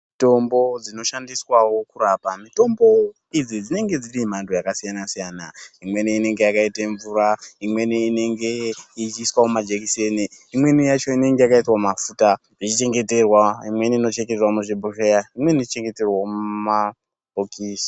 Mitombo dzinoshandiswawo kurapa mitombo idzi dzinenge dzine mhando yakasiyana-siyana imweni inenge yakaita mvura imweni inenge ichiiswa mumajekiseni imweni yacho inenge yakaiswa mumafuta ichi chengeterwa imweni inochengeterwa muzvibhohleya imweni inochengeterwa mumabhokisi.